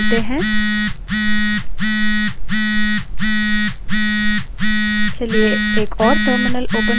इस terminal की size बदलते हैं